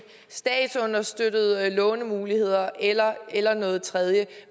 statsunderstøttede lånemuligheder eller eller noget tredje